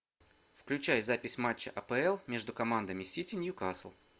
включай запись матча апл между командами сити ньюкасл